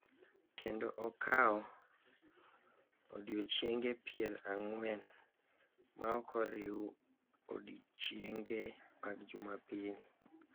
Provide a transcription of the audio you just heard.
Kendo okawo odiochienge pier ang`wen ma ok oriw odiochienge mag Jumapil,